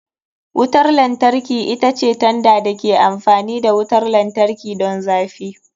Wutar lantarki ita ce tanda da ke amfani da wutar lantarki don zafi.